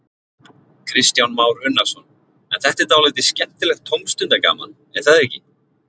Kristján Már Unnarsson: En þetta er dálítið skemmtilegt tómstundagaman, er það ekki?